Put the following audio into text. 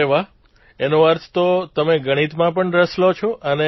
અરે વાહ એનો અર્થ તો તમે ગણિતમાં પણ રસ લો છો